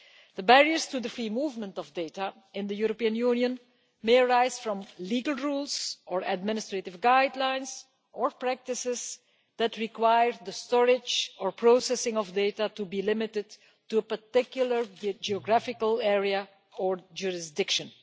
The barriers to the free movement of data in the European Union may arise from legal rules or administrative guidelines or practices that required the storage or processing of data to be limited to a particular geographical area or jurisdiction.